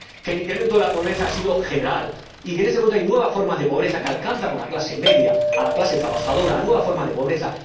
Que el incremento de la pobreza ha sido general y que en este momento hay nuevas formas de pobreza que alcanzan a la clase media, a la clase trabajadora nuevas formas de pobreza.